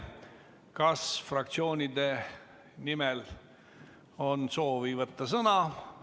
Kas fraktsioonide nimel on kellelgi soovi sõna võtta?